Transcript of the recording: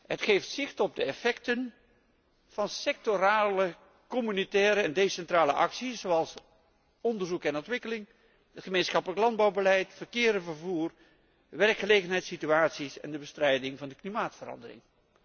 Het geeft zicht op de effecten van sectorale communautaire en decentrale actie zoals onderzoek en ontwikkeling, het gemeenschappelijk landbouwbeleid, verkeer en vervoer, werkgelegenheidssituaties en bestrijding van de klimaatverandering.